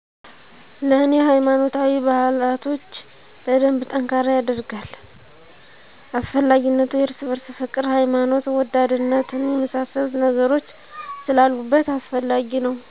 ለኔ ሃይማኖታዊ ባህላቶች በደንብ ጠንካራ የደርጋል። አስፈላጊነቱ የርስ በርስ ፍቅር፣ ሀይማኖት ወዳድነትን የመሳሰሉ ነገሮች ስላሉበት አስፈላጊ ነው